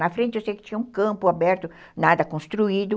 Na frente eu sei que tinha um campo aberto, nada construído.